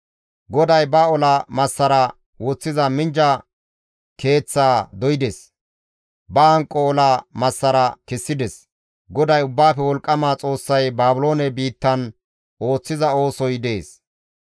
GODAY ba ola massaraa woththiza minjja keeththaa doydes; ba hanqo ola massara kessides; GODAY Ubbaafe Wolqqama Xoossay Baabiloone biittan ooththiza oosoy dees.